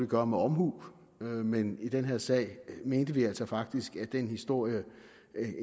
gøre med omhu men i den her sag mente vi altså faktisk fremgik af den historie